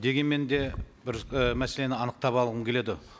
дегенмен де бір і мәселені анықтап алғым келеді